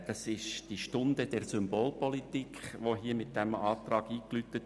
Mit diesem Antrag wird die «Stunde der Symbolpolitik» eingeläutet.